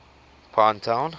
pinetown